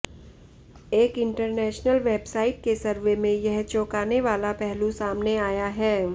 एक international website के survey में यह चौंकाने वाला पहलू सामने आया है